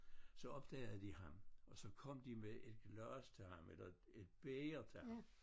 Så opdagede de ham og så kom de med et glas til ham eller et bæger til ham